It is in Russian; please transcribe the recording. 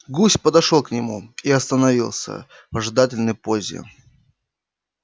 гусь подошёл к нему и остановился в ожидательной позе